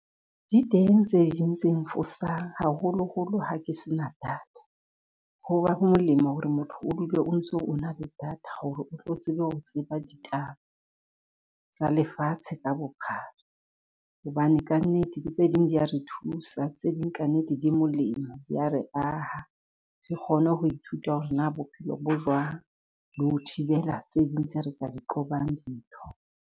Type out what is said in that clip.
Di teng tse ding tse nfosang, haholoholo ha ke se na data, ho ba ho molemo hore motho o dule o ntso o na le data hore o tlo tsebe ho tseba ditaba tsa lefatshe ka bophara. Hobane ka nnete le tse ding di a re thusa tse ding ka nnete di molemo dia re aha, re kgone ho ithuta hore na bophelo bo jwang di ho thibela tse ding tse re ka di qobang dintho.